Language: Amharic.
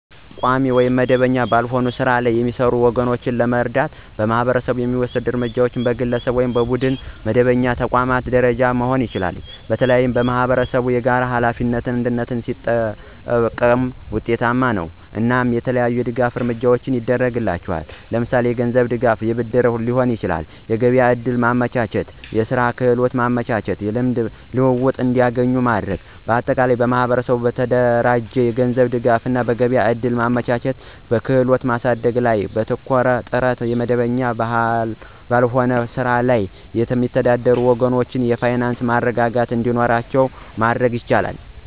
በቋሚ ወይም መደበኛ ባልሆነ ሥራ ላይ የሚሰሩ ወገኖቻችንን ለመርዳት ማህበረሰቡ የሚወስደው እርምጃ በግለሰብ፣ በቡድንና በመደበኛ ተቋማት ደረጃ መሆን ይችላል። በተለይም ማኅበረሰብ የጋራ ሀላፊነትን (አንድነት) ሲጠቀም ውጤታማ ነው። እናም የተለያዩ የድጋፍ እርምጃዎችን ያድርግላቸዋል ለምሳሌ የገንዝብ ድጋፍ የብድርም ሊሆን ይችላል። የገቢያ ዕድል ማመቻቸት፣ የስራ ክህሎት ማመቻቸት። የልምድ ልውውጥ እንዲገኙ ማድረግ። ማጠቃለያ ማህበረሰቡ በተደራጀ የገንዘብ ድጋፍ፣ በገበያ እድል ማመቻቸት እና በክህሎት ማሳደግ ላይ ባተኮረ ጥረት የመደበኛ ባልሆነ ስራ ላይ የሚተዳደሩ ወገኖቻችን የፋይናንስ መረጋጋት እንዲኖራቸው ማድረግ ይቻላል።